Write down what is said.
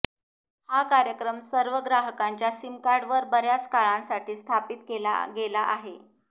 हा कार्यक्रम सर्व ग्राहकांच्या सिम कार्डवर बर्याच काळासाठी स्थापित केला गेला आहे